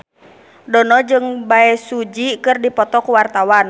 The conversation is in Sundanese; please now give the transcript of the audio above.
Dono jeung Bae Su Ji keur dipoto ku wartawan